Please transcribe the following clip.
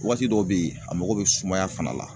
Waati dɔw be yen a mako bɛ sumaya fana la